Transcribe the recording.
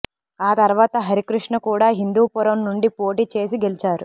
ఆ తర్వాత హరికృష్ణ కూడా హిందూపురం నుండి పోటీ చేసి గెలిచారు